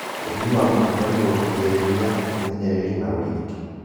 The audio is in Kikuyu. Ũthimi wa mũkingo nĩguo kũgirĩrĩria, ũmenyereri na ũrigiti